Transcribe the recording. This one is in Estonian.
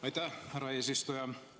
Aitäh, härra eesistuja!